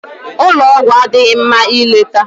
Ụlọ ọgwụ adịghị mma ileta